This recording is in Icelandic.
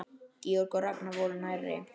Georg og Ragnar voru nærri.